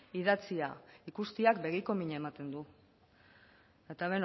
idatzia ikusteak begiko mina ematen du eta